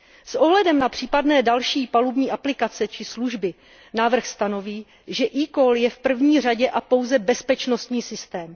S ohledem na případné další palubní aplikace či služby návrh stanoví, že eCall je v první řadě a pouze bezpečnostní systém.